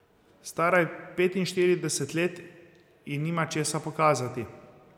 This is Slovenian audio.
Stara je petinštirideset let in nima česa pokazati.